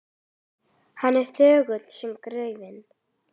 Hann er þögull sem gröfin.